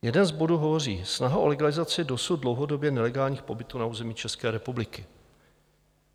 Jeden z bodů hovoří: Snaha o legalizaci dosud dlouhodobě nelegálních pobytů na území České republiky.